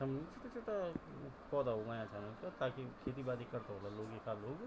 सामणु छुट्टा-छुट्टा पोधा उगायां छन ताकि खेती-बाड़ी करदा होला लोग इखा लोग।